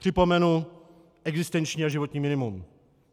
Připomenu existenční a životní minimum.